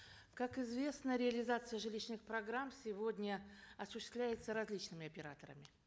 как известно реализация жилищных программ сегодня осуществляется различными операторами